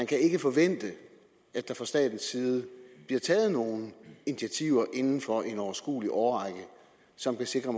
kan forvente at der fra statens side bliver taget nogen initiativer inden for en overskuelig årrække som kan sikre